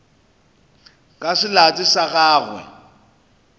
ka se late sa gagwe